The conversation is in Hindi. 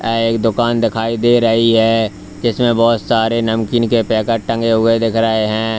एक दुकान दिखाई दे रही है इसमें बहुत सारे नमकीन के पैकेट टंगे हुए दिख रहे हैं।